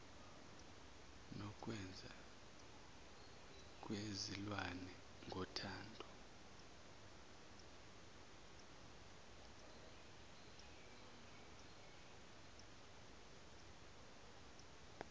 nokwenza kwezilwane ngothando